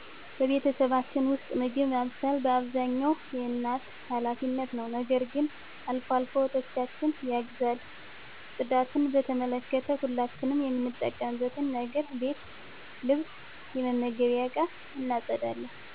በቤተሰባችን ውስጥ፣ ምግብ ማብሰል በአብዛኛው የእናቴ ኃላፊነት ነው። ነገር ግን አልፎ አልፎ እህቶቸ ያግዟል። ጽዳትን በተመለከተ፣ ሁላችንም የምንጠቀምበትን ነገር ቤት ልብስ የመመገቢያ እቃ እናፀዳለን።